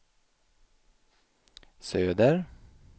söder